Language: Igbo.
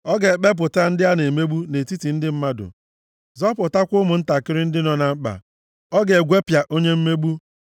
Ọ ga-ekpepụta ndị a na-emegbu nʼetiti ndị mmadụ, zọpụtakwa ụmụntakịrị ndị nọ na mkpa; ọ ga-egwepịa onye mmegbu.